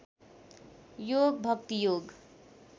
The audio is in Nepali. योग भक्ति योग